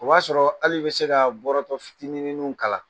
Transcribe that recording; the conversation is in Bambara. O b'a sɔrɔ hali i bi se ka bɔrɔtɔ fitininw kalan.